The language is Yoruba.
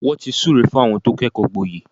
Wọ́n ti súre fún àwọn tí wọ́n kẹ́kọ̀ọ́ gboyè.